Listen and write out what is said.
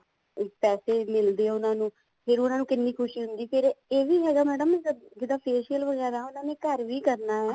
ਪੈਸੇ ਮਿਲਦੇ ਆ ਉਹਨਾ ਨੂੰ ਫ਼ੇਰ ਉਹਨਾ ਨੂੰ ਕਿੰਨੀ ਖੁਸ਼ੀ ਹੁੰਦੀ ਫ਼ੇਰ ਇਹ ਵੀ ਹੈਗਾ madam ਜਿੱਦਾਂ facial ਵਗੈਰਾ ਉਹਨਾ ਨੇ ਘਰ ਵੀ ਕਰਨਾ